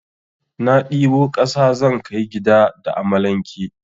Na ɗibo kasa zan kai gida da amalanke.